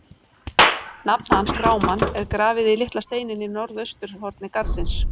Nafn hans, Grámann, er grafið í litla steininn í norðausturhorni garðsins.